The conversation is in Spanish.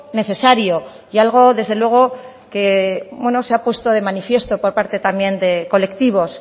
necesario y algo desde luego que se ha puesto de manifiesto por parte también de colectivos